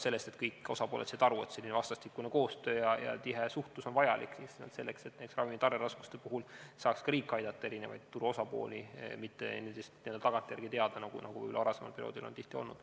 Kõik osapooled said aru, et vastastikune koostöö ja tihe suhtlus on vajalik just nimelt selleks, et riik saaks ka näiteks ravimi tarneraskuste puhul aidata turu eri osapooli, ja probleemidest ei saada teada alles tagantjärele, nagu varasemal perioodil on tihti olnud.